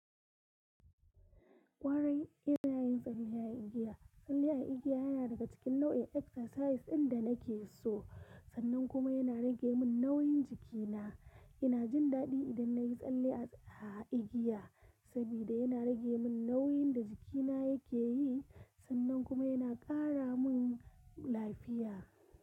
Ƙwarai ina yin tsalle a igiya. Tsalle a igiya yana daga cikin nau'in exercise ɗin da nake so, sannan kuma yana rage min nauyin jikina. Ina jin daɗi idan na yi tsalle a igiya saboda yana rage min nauyin da jikina yake yi, sannan kuma yana ƙara min lafiya.